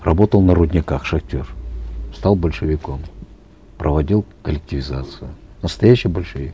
работал на рудниках шахтер стал большевиком проводил коллективизацию настоящий большевик